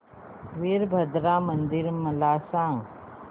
वीरभद्रा मंदिर मला सांग